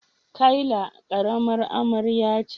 Kayla karamar amarya ce.